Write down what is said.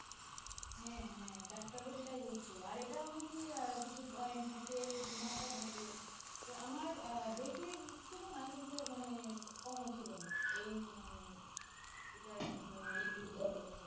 হ্যাঁ হ্যাঁ ডাক্তারও সেটা বলছে, আর এটাও নাকি কিছু point থাকে কিছু মাত্রা থাকে, তো আমার বেশি ছিল না কিন্তু মানে কমও ছিল না, এই মানে যাই হোক তোমার